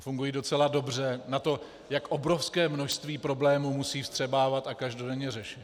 A fungují docela dobře na to, jak obrovské množství problémů musí vstřebávat a každodenně řešit.